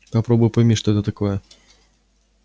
попробуй пойми что это такое